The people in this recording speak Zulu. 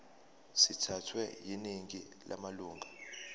sithathwe yiningi lamalunga